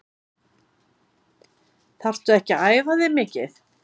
Þarftu ekki að æfa þig mikið?